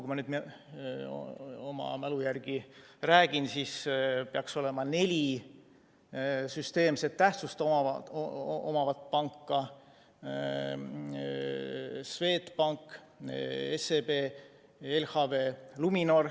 Kui ma nüüd oma mälu järgi räägin, siis peaks meil olema neli süsteemset tähtsust omavat panka: Swedbank, SEB, LHV ja Luminor.